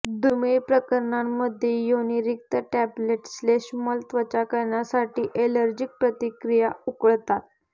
दुर्मिळ प्रकरणांमध्ये योनिरीक्त टॅब्लेट श्लेष्मल त्वचा करण्यासाठी एलर्जीक प्रतिक्रिया उकळतात